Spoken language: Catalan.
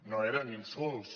no eren insults